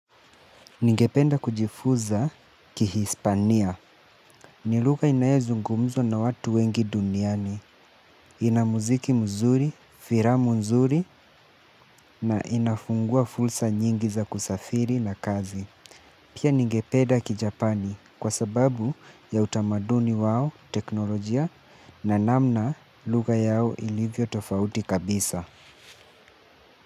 Ningependa kujifuza kihispania ni luga inaezungumzwa na watu wengi duniani. Inamuziki mzuri, firamu nzuri na inafungua fulsa nyingi za kusafiri na kazi. Pia ningependa kijapani kwa sababu ya utamaduni wao teknolojia na namna luga yao ilivyo tofauti kabisa.